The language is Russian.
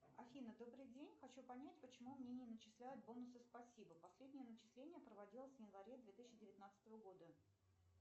афина добрый день хочу понять почему мне не начисляют бонусы спасибо последнее начисление проводилось в январе две тысячи девятнадцатого года